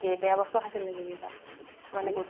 বেয়া বস্তু খাইছিল নেকি কিবা মানে গুতখা যাতিয়